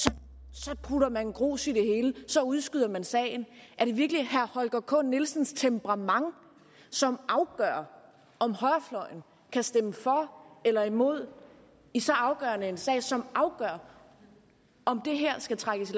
så putter man grus i det hele så udskyder man sagen er det virkelig herre holger k nielsens temperament som afgør om højrefløjen kan stemme for eller imod i så afgørende en sag som afgør om det her skal trækkes